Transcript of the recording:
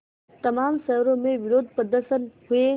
तमाम शहरों में विरोधप्रदर्शन हुए